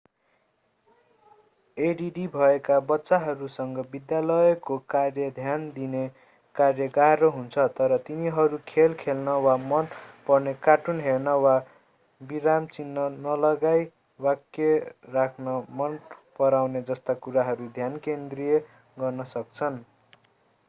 add भएका बच्चाहरूसँग विद्यालयको कार्य ध्यान दिने कार्य गाह्रो हुन्छ तर तिनीहरू खेल खेल्न वा मन पर्ने कार्टुन हेर्ने वा विराम चिह्न नलगाइ वाक्य लेख्न मनपराउने जस्ता कुरामा ध्यान केन्द्रित गर्न सक्छन्